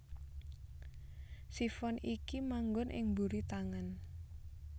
Sifon iki manggon ing mburi tangan